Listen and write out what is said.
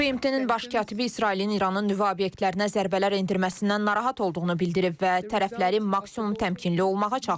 BMT-nin baş katibi İsrailin İranın nüvə obyektlərinə zərbələr endirməsindən narahat olduğunu bildirib və tərəfləri maksimum təmkinli olmağa çağırıb.